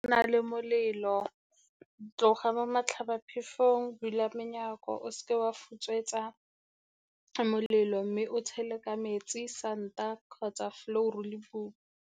Nna le molelo, tloga mo matlhabaphefong, bula menyako, o se ke wa futswetsa molelo, mme o tshele ka metsi, santa kgotsa flour-ru le .